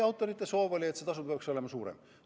Autorite soov oli, et see tasu oleks suurem.